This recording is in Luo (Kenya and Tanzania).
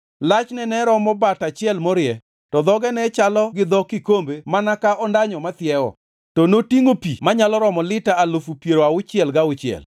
Lachne ne romo bat achiel morie, to dhoge ne chalo gi dho kikombe mana ka ondanyo mathiewo. To notingʼo pi manyalo romo lita alufu piero auchiel gauchiel.